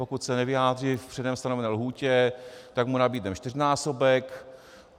Pokud se nevyjádří v předem stanovené lhůtě, tak mu nabídneme čtyřnásobek.